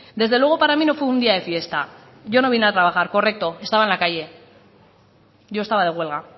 desde luego para mí no fue un día de fiesta yo no vine a trabajar correcto estaba en la calle yo estaba de huelga